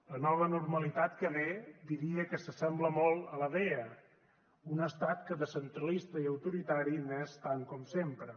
la nova normalitat que ve diria que s’assembla molt a la vella un estat que de centralista i autoritari n’és tant com sempre